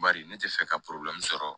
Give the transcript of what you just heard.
Bari ne tɛ fɛ ka sɔrɔ